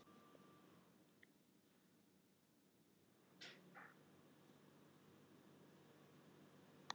Grímheiður, hvaða dagur er í dag?